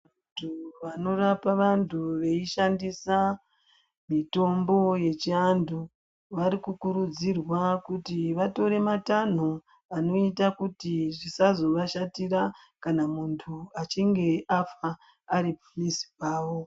Vantu vanorapa vantu veishandisa mutombo wechiantu varikukurudzirwa kuti vatore matanho anoita kuti zvisazovashatira kana munhu achinge afa aripamuzi pavo.